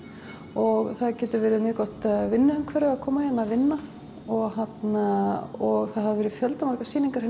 og það getur verið mjög gott vinnumhverfi að koma hingað að vinna og og það hafa verið fjölda margar sýningar